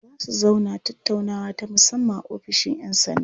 Za su zauna tattaunawa ta musamman a ofishin 'yan sanda.